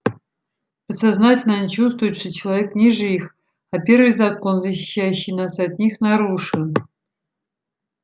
подсознательно они чувствуют что человек ниже их а первый закон защищающий нас от них нарушен